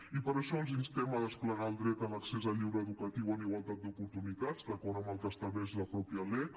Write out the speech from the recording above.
i per això els instem a desplegar el dret a l’accés al lleure educatiu en igualtat d’oportunitats d’acord amb el que estableix la mateixa lec